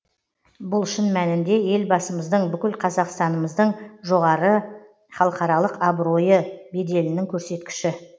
бұл шын мәнінде елбасымыздың бүкіл қазақстанымыздың жоғары халықаралық абыройы беделінің көрсеткіші